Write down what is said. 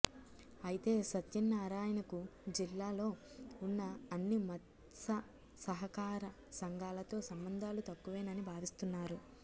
అయితే సత్యనారాయణకు జిల్లాలో ఉన్న అన్ని మత్ససహకార సంఘాలతో సంబంధాలు తక్కువేనని భావిస్తున్నారు